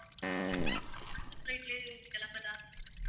அந்த flight லயே கிளம்பலாம்ன்னு